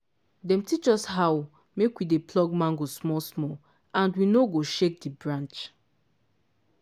dem teach us how make we dey pluck ripe mango small smalland we no go shake the branch